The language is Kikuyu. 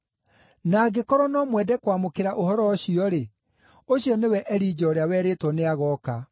Na angĩkorwo no mwende kwamũkĩra ũhoro ũcio-rĩ, ũcio nĩwe Elija ũrĩa werĩtwo nĩagooka.